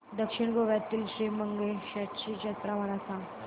दक्षिण गोव्यातील श्री मंगेशाची जत्रा मला सांग